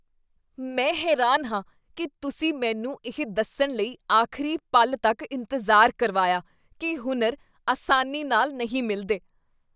ਮੈਂ ਹੈਰਾਨ ਹਾਂ ਕੀ ਤੁਸੀਂ ਮੈਨੂੰ ਇਹ ਦੱਸਣ ਲਈ ਆਖ਼ਰੀ ਪਲ ਤੱਕ ਇੰਤਜ਼ਾਰ ਕਰਵਾਇਆ ਕੀ ਹੁਨਰ ਆਸਾਨੀ ਨਾਲ ਨਹੀਂ ਮਿਲਦੇ।